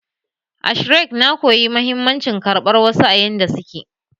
A Shrek, na koyi mahimmancin karɓar wasu a yanda suke